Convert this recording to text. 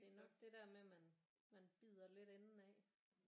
Det er nok det der med at man man bider lidt enden af